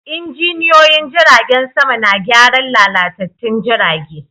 Injiniyoyin jiragen sama na gyaran lalatattun jirage.